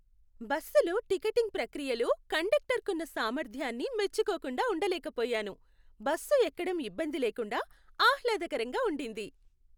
బస్సులో టికెటింగ్ ప్రక్రియలో కండక్టర్కున్న సామర్థ్యాన్ని మెచ్చుకోకుండా ఉండలేకపోయాను. బస్సు ఎక్కడం ఇబ్బంది లేకుండా, ఆహ్లాదకరంగా ఉండింది.